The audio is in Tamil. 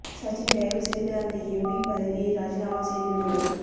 சச்சின் தயவு செய்து அந்த எம்பி பதவியை ராஜினாமா செய்து விடுங்கள்